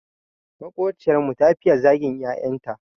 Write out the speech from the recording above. Maƙociyar mu ta fiye zagin 'ya'yan ta.